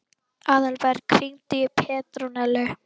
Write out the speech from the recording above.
Aðalberg, hringdu í Petrónellu.